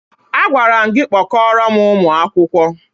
Agwara m gị kpọkọọrọ m ụmụ akwụkwọ!